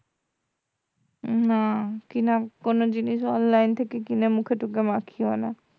না কেনা কোন জিনিস online থেকে কিনে মুখে টুখে মাখিও না